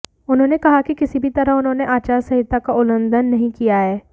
उन्होंने कहा कि किसी भी तरह उन्होंने आचार संहिता का उल्लंघ्न नहीं किया है